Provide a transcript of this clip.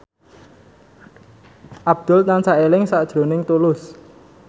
Abdul tansah eling sakjroning Tulus